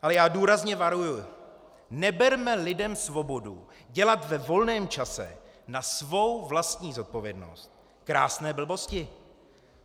Ale já důrazně varuji - neberme lidem svobodu dělat ve volném čase na svou vlastní zodpovědnost krásné blbosti.